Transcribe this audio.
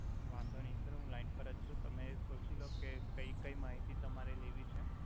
વાંધો નઈ સર હુ લાઇન અર જ છુ તમે સોચી લોકે કઈ કઈ મહિતી તમારે લેવી છે